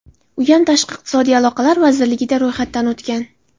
Uyam tashqi iqtisodiy aloqalar vazirligida ro‘yxatdan o‘tgan.